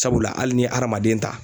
Sabula hali ni adamaden ta